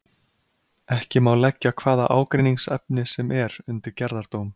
Ekki má leggja hvaða ágreiningsefni sem er undir gerðardóm.